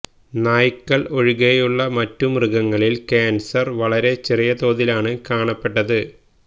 നായ്കള് ഒഴികെയുള്ള മറ്റു മൃഗങ്ങളിൽ കാൻസർ വളരെ ചെറിയ തോതിലാണ് കാണപ്പെട്ടത്